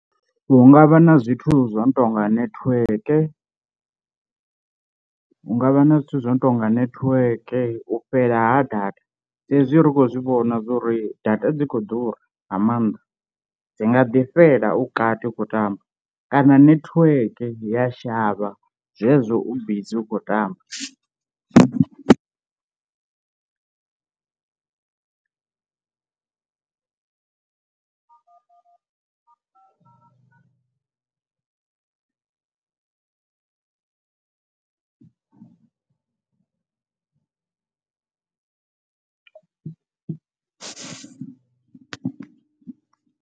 Hu ngavha na zwithu zwo no tonga netiweke, hungavha na zwithu zwo no tonga netiweke, u fhela ha data saizwi ri khou zwi vhona zwa uri data dzi khou ḓura nga maanḓa dzi nga ḓi fhela u kati utshi khou tamba kana netiweke ya shavha zwezwo u bizi u khou tamba.